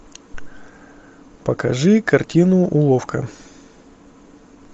покажи картину уловка